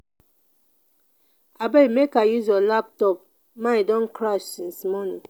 abeg make i use your laptopmine don crash since morning